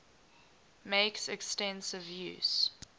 makes extensive use